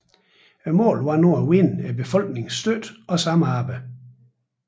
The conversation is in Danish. Målet var nu at vinde befolkningens støtte og samarbejde